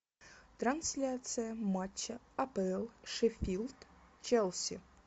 трансляция матча апл шеффилд челси